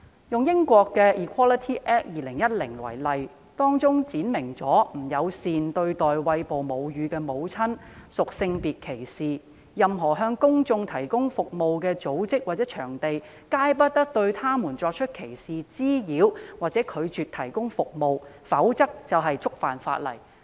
英國的 Equality Act 2010闡明不友善對待餵哺母乳的婦女屬性別歧視，任何向公眾提供服務的組織或場地，皆不得對餵哺母乳的婦女作出歧視、滋擾或拒絕提供服務，否則便會觸犯法例。